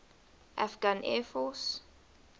afghan air force